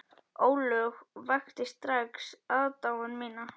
Ólöf vakti strax aðdáun mína.